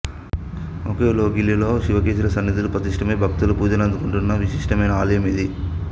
ఒకే లోగిలిలో శివకేశవుల సన్నిధులు ప్రతిష్ఠితమై భక్తుల పూజలందుకుంటున్న విశిష్టమైన ఆలయం ఇది